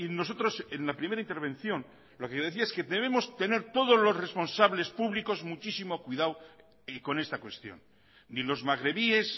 nosotros en la primera intervención lo que decía yo decía es que debemos tener todos los responsables públicos muchísimos cuidado con esta cuestión ni los magrebíes